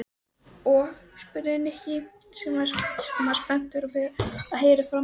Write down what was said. Og? spurði Nikki sem var spenntur að heyra framhaldið.